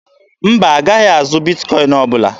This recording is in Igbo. Mba, a gaghị azụ Bitkọin ọbụla.